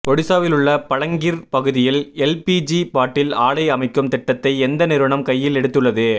ஒடிசாவிலுள்ள பலங்கிர் பகுதியில் LPG bottle ஆலை அமைக்கும் திட்டத்தை எந்த நிறுவனம் கையில் எடுத்து உள்ளது